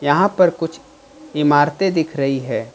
यहां पर कुछ इमारतें दिख रही है।